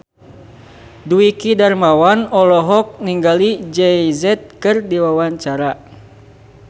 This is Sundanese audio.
Dwiki Darmawan olohok ningali Jay Z keur diwawancara